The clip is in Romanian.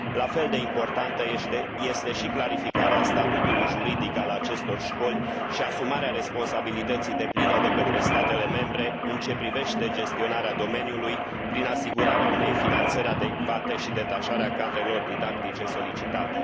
La fel de importantă este și clarificarea statutului juridic al acestor școli și asumarea responsabilității depline de către statele membre în ce privește gestionarea domeniului prin asigurarea unei finanțări adecvate și detașarea cadrelor didactice solicitate.